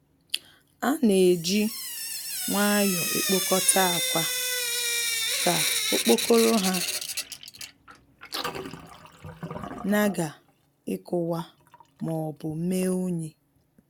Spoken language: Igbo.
A na-eji nwayọọ ekpokọta akwa ka okpokoro ha nagha ikuwa maọbu mee unyi.